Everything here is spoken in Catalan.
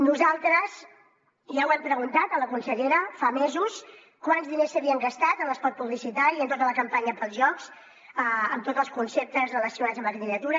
nosaltres ja ho hem preguntat a la consellera fa mesos quants diners s’havien gastat en l’espot publicitari i en tota la campanya per als jocs amb tots els conceptes relacionats amb la candidatura